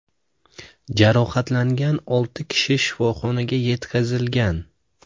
Jarohatlangan olti kishi shifoxonaga yetkazilgan.